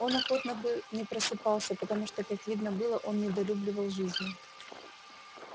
он охотно бы не просыпался потому что как видно было он недолюбливал жизни